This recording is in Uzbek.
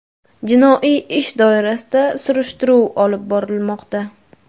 Jinoiy ish doirasida surishtiruv olib borilmoqda.